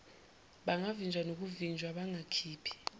bangavinjwa nokuvinjwa bangakhiphi